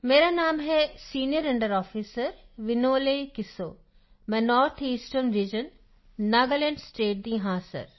ਮੇਰਾ ਨਾਮ ਹੈ ਸੀਨੀਅਰ ਅੰਡਰ ਆਫਿਸਰ ਵਿਨੋਲੇ ਕਿਸੋਮੈਂ ਨੌਰਥ ਈਸਟਰਨ ਰੀਜਨ ਨਾਗਾਲੈਂਡਸਟੇਟ ਦਾ ਹਾਂ ਸਰ